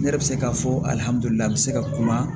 Ne yɛrɛ bɛ se k'a fɔ a bɛ se ka kuma